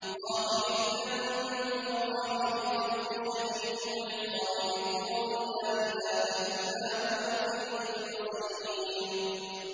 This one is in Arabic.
غَافِرِ الذَّنبِ وَقَابِلِ التَّوْبِ شَدِيدِ الْعِقَابِ ذِي الطَّوْلِ ۖ لَا إِلَٰهَ إِلَّا هُوَ ۖ إِلَيْهِ الْمَصِيرُ